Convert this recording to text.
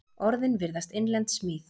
Orðin virðast innlend smíð.